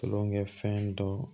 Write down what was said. Tulonkɛ fɛn dɔ